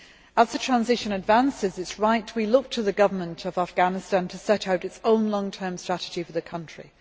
As the transition advances, it is right that we look to the government of Afghanistan to set out its own long term strategy for the country.